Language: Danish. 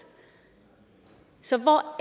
så hvor